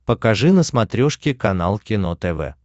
покажи на смотрешке канал кино тв